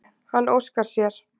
Hann óskar sér.